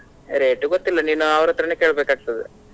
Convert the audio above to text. Rate ಗೊತ್ತಿಲ್ಲ ನೀನು ಅವರತ್ರನೇ ಕೇಳ್ಬೇಕಾಗ್ತದೆ.